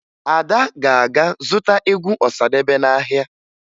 Ada ga-aga zụta egwu Ọsadebe n'ahịa